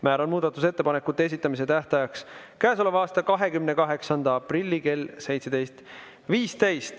Määran muudatusettepanekute esitamise tähtajaks käesoleva aasta 28. aprilli kell 17.15.